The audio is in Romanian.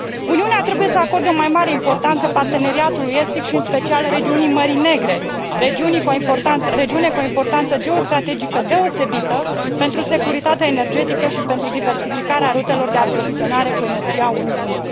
Uniunea trebuie să acorde o mai mare importanță parteneriatului estic și în special regiunii Mării Negre, regiune cu o importanță geostrategică deosebită pentru securitatea energetică și pentru diversificarea rutelor de aprovizionare cu energie a Uniunii.